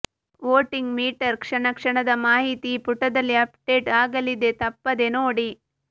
voting meter ಕ್ಷಣ ಕ್ಷಣದ ಮಾಹಿತಿ ಈ ಪುಟದಲ್ಲಿ ಅಪ್ಡೇಟ್ ಆಗಲಿದೆ ತಪ್ಪದೇ ನೋಡಿ